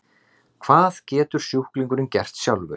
Hvað getur sjúklingurinn gert sjálfur?